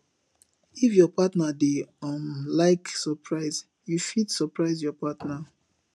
if your partner dey um like surprise you fit surprise your partner